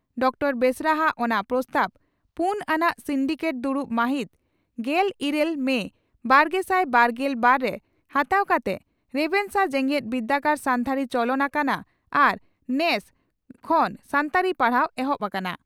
Doctor ᱵᱮᱥᱨᱟ ᱦᱟᱜ ᱚᱱᱟ ᱯᱨᱚᱥᱛᱟᱵᱽ ᱯᱩᱱ ᱟᱱᱟᱜ ᱥᱤᱱᱰᱤᱠᱮᱴ ᱫᱩᱲᱩᱵ ᱢᱟᱦᱤᱛ ᱜᱮᱞ ᱤᱨᱟᱹᱞ ᱢᱮ ᱵᱟᱨᱜᱮᱥᱟᱭ ᱵᱟᱨᱜᱮᱞ ᱵᱟᱨ ) ᱨᱮ ᱦᱟᱛᱟᱣ ᱠᱟᱛᱮ ᱨᱮᱵᱷᱮᱱᱥᱟ ᱡᱮᱜᱮᱛ ᱵᱤᱨᱫᱟᱹᱜᱟᱲᱨᱮ ᱥᱟᱱᱛᱟᱲᱤ ᱪᱚᱞᱚᱱ ᱟᱠᱟᱱᱟ ᱟᱨ ᱱᱮᱥ) ᱠᱷᱚᱱ ᱥᱟᱱᱛᱟᱲᱤ ᱯᱟᱲᱦᱟᱣ ᱮᱦᱚᱵ ᱟᱠᱟᱱᱟ ᱾